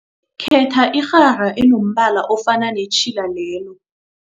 Khetha irhara enombala ofana netjhila lelo.